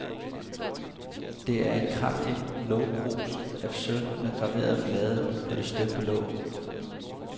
Det er et kraftigt lågkrus af sølv med graverede blade på det støbte låg.